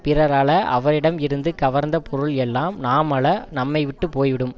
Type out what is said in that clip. பிறர் அழ அவரிடம் இருந்து கவர்ந்த பொருள் எல்லாம் நாம் அழ நம்மை விட்டு போய்விடும்